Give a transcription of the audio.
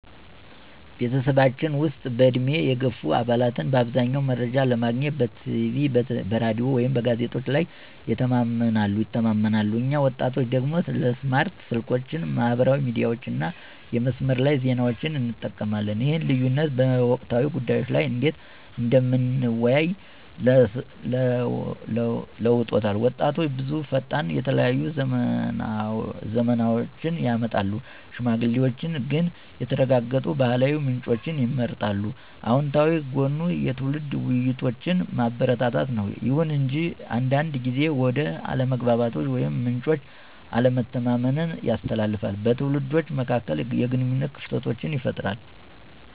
በቤተሰባችን ውስጥ፣ በዕድሜ የገፉ አባላት በአብዛኛው መረጃ ለማግኘት በቲቪ፣ በራዲዮ ወይም በጋዜጦች ላይ ይተማመናሉ፣ እኛ ወጣቶቹ ደግሞ ስማርት ስልኮችን፣ ማህበራዊ ሚዲያዎችን እና የመስመር ላይ ዜናዎችን እንጠቀማለን። ይህ ልዩነት በወቅታዊ ጉዳዮች ላይ እንዴት እንደምንወያይ ለውጦታል— ወጣቶች ብዙ ፈጣን፣ የተለያዩ ዝመናዎችን ያመጣሉ፣ ሽማግሌዎች ግን የተረጋገጡ ባህላዊ ምንጮችን ይመርጣሉ። አወንታዊ ጎኑ የትውልድ ውይይቶችን ማበረታታት ነው። ይሁን እንጂ አንዳንድ ጊዜ ወደ አለመግባባቶች ወይም ምንጮች አለመተማመንን ያስከትላል, በትውልዶች መካከል የግንኙነት ክፍተቶችን ይፈጥራል.